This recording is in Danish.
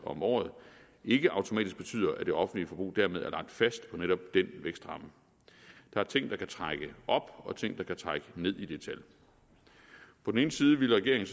om året ikke automatisk betyder at det offentlige forbrug dermed er lagt fast på netop den vækstramme der er ting der kan trække op og ting der kan trække ned i det tal på den ene side ville regeringen